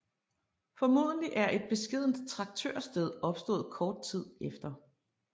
Formodentlig er et beskedent traktørsted opstået kort tid efter